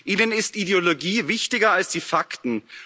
Ihnen ist Ideologie wichtiger als die Fakten.